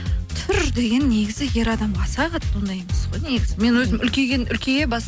түр деген негізі ер адамға аса қатты ондай емес қой негізі мен өзім үлкейген үлкейе